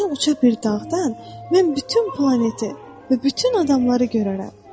Biri uca bir dağdan mən bütün planeti və bütün adamları görərəm.